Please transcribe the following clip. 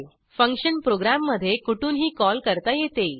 function प्रोग्रॅममधे कुठूनही call करता येते